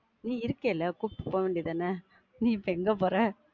நீ இருக்கேல, கூட்டிட்டு போவேண்டியது தான, நீ இப்போ எங்க போற?